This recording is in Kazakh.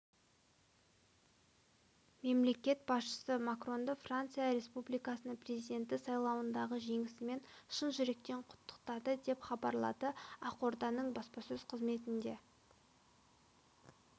мемлекет басшысы макронды франция республикасының президенті сайлауындағы жеңісімен шын жүректен құттықтады деп хабарлады ақорданың баспасөз қызметінде